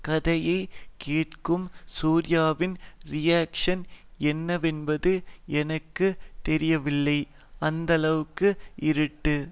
கதையை கேட்கும் சூர்யாவின் ரியாக்ஷ்ன் என்னவென்பது எனக்கு தெரியவில்லை அந்த அளவுக்கு இருட்டு